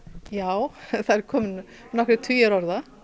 já það eru komnir inn nokkrir tugir orða